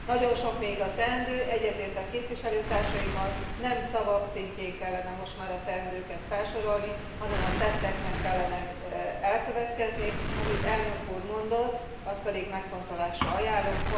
Nagyon sok még a teendő. Egyetértek képviselőtársaimmal, nem szavak szintjén kellene most már a teendőket felsorolni, hanem a tetteknek kellene elkövetkezni, amit elnök úr mondott, azt pedig megfontolásra ajánlom.